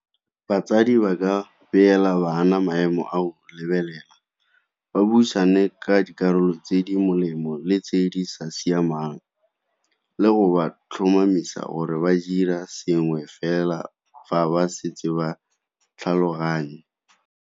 Batsadi ba ka beela bana maemo a o lebelela, ba buisane ka dikarolo tse di molemo le tse di sa siamang le go ba tlhomamisa gore ba dira sengwe fela fa ba setse ba tlhaloganya.